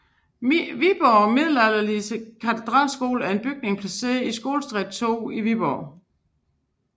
Viborgs Middelalderlige Katedralskole er en bygning placeret i Skolestræde 2 i Viborg